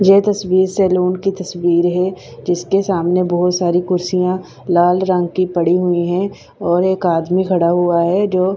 ये तस्वीर सैलून की तस्वीर है जिसके सामने बहुत सारी कुर्सियां लाल रंग की पड़ी हुई हैं और एक आदमी खड़ा हुआ है जो--